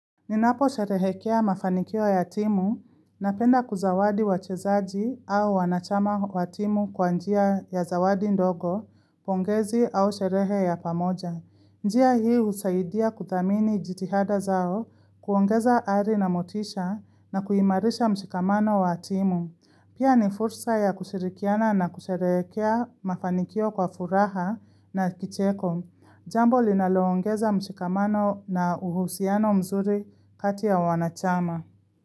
Ninaposherehekea mafanikio ya timu napenda kuzawadi wachezaji au wanachama wa timu kwa njia ya zawadi ndogo, pongezi au sherehe ya pamoja. Njia hii husaidia kuthamini jitihada zao kuongeza ari na motisha na kuhimarisha mshikamano wa timu. Pia ni fursa ya kushirikiana na kusherekea mafanikio kwa furaha na kicheko. Jambo linaloongeza mshikamano na uhusiano mzuri kati ya wanachama.